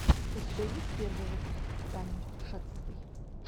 у тебя есть первый выпуск тани шацевой